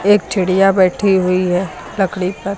एक चिड़िया बैठी हुई है लकड़ी पर।